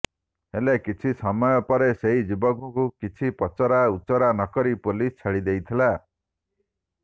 ହେଲେ କିଛି ସମୟପରେ ସେହି ଯୁବକଙ୍କୁ କିଛି ପଚରା ଉଚୁରା ନକରି ପୋଲିସ ଛାଡି ଦେଇଥିଲା